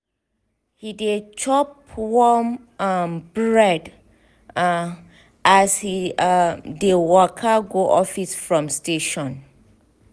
he dey chop warm um bread um as he um dey waka go office from station.